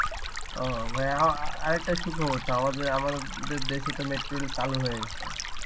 ওহ অ্যাঁ আরেকটা সুখবর, তো আমাদে~ আমাদের দেশে তো metro rail চালু হয়ে গেছে